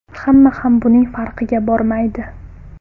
Hamma ham buning farqiga bormaydi.